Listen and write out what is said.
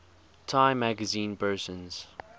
time magazine persons